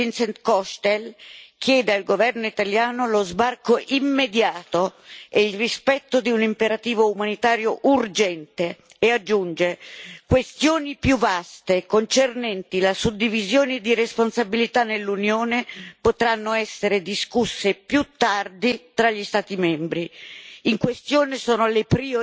L'inviato speciale dell'ONU Vincent Cochetel chiede al governo italiano lo sbarco immediato e il rispetto di un imperativo umanitario urgente e aggiunge che questioni più vaste concernenti la suddivisione di responsabilità nell'Unione potranno essere discusse più tardi tra gli Stati membri.